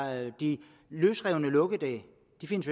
at de løsrevne lukkedage